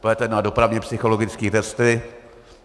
Půjdete na dopravně psychologické testy.